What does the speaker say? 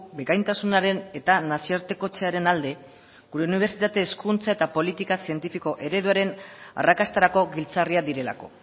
bikaintasunaren eta nazioartekotzearen alde gure unibertsitate hezkuntza eta politika zientifiko ereduaren arrakastarako giltzarriak direlako